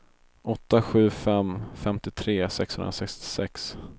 åtta sju fem två femtiotre sexhundrasextiosex